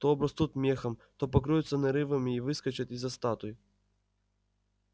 то обрастут мехом то покроются нарывами и выскочат из-за статуй